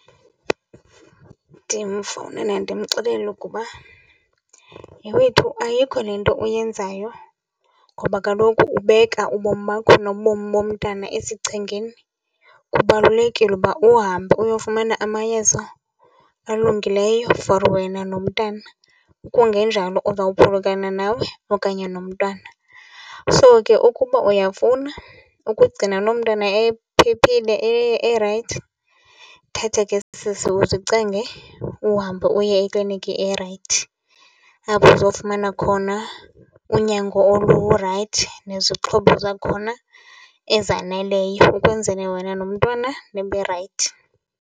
Ndimfowunele ndimxelele ukuba, yhe wethu ayikho le nto uyenzayo ngoba kaloku ubeka ubomi bakho nobomi bomntana esichengeni. Kubalulekile uba uhambe uyofumana amayeza alungileyo for wena nomntana, kungenjalo uzawuphulukana nawe okanye nomntwana. So ke ukuba uyafuna ukugcina loo mntwana ephephile erayithi, thatha ke sisi uzicenge uhambe uye eklinikhi erayithi apho azofumana khona unyango olurayithi nezixhobo zakhona ezaneleyo ukwenzele wena nomntwana nibe rayithi.